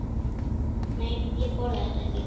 Nei, ég borða þetta ekki.